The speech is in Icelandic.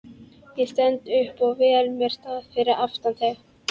Ég stend upp og vel mér stað fyrir aftan þig.